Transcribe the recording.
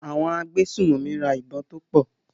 Àwọn agbésùnmọ̀mí ra ìbọn tó pọ̀.